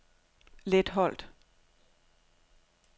Letholt